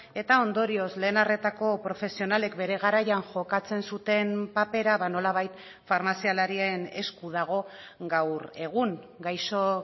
eta ondorioz lehen arretako profesionalek bere garaian jokatzen zuten papera nolabait farmazialarien esku dago gaur egun gaixo